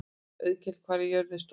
Auðkell, hvað er jörðin stór?